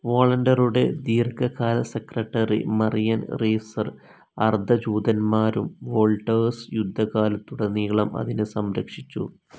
വോളൻഡറുടെ ദീർഘകാല secretary Marian Reiser അർദ്ധ ജൂതന്മാരും വോൾടേഴ്സ് യുദ്ധകാലത്തുടനീളം അതിനെ സംരക്ഷിച്ചു.